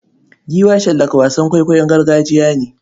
Giwa shallaka wasan kwaikwayon gargajiya ne.